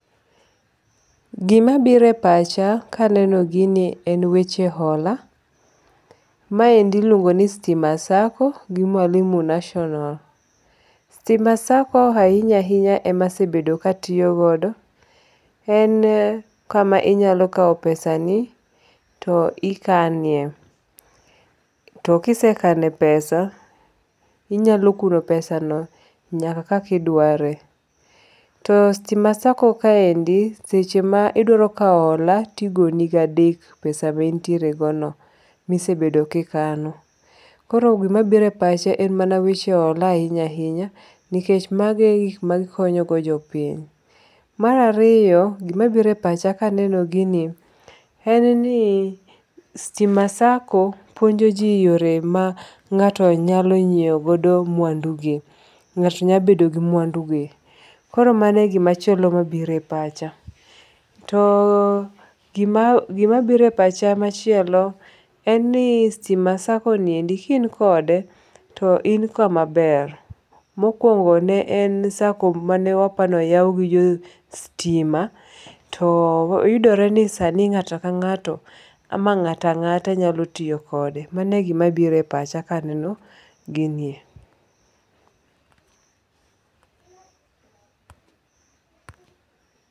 Gima biro e pacha ka aneno gini en weche hola. Maendi iluongo ni Stima Sacco gi Mwalimu National. Stima Sacco ahinya ahinya emasabedo ka atiyogodo. En kama inyalo kawo pesani to ikanie. To kisekane pesa inyalo kuno pesano nyaka kaka idware, To Stima Sacco kaende seche ma idwaro kawo hola to igo ni gi adek pesa maintiere go no mi isebedo kikano. Koro gima biro e pacha en mana weche hola ahinya ahinya nikech magi e gig ma gikonyo go jopiny. Mar ariyo gima biro e pacha ka aneno gini en ni Stima Sacco puonjo ji yore ma ng'ato nyalo nyiewo godo mwandu gi. Ng'ato nyalo bedo gi mwandu gi. Koro mano e gimachielo ma obiro e pacha. To gima gima biro e pach machielo en ni Stima Sacco ni endi ki in kode to in kamaber. Mokwongo ne en sacco mane waporo ni oyaw gi jo stima to yudore ni sani ng'ato ka ng'ato ama ng'ata ng'ata nyalo tiyo kode, Mano e gima biro e pach ka aneno ginie